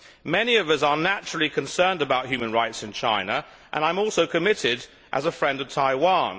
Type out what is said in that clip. Many of us are naturally concerned about human rights in China and I am also committed as a friend of Taiwan.